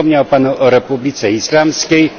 Wspomniał Pan o Republice Islamskiej,